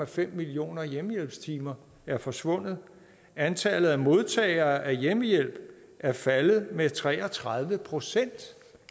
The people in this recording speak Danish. fem millioner hjemmehjælpstimer er forsvundet og antallet af modtagere af hjemmehjælp er faldet med tre og tredive procent